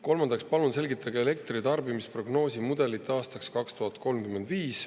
Kolmandaks palume selgitada elektritarbimise prognoosi mudelit aastaks 2035.